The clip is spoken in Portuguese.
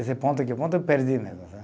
Esse ponto aqui, o ponto eu perdi mesmo